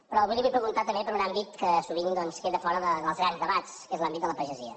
però avui li vull preguntar també per un àmbit que sovint doncs queda fora dels grans debats que és l’àmbit de la pagesia